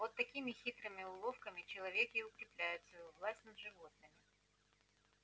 вот такими хитрыми уловками человек и укреплял свою власть над животными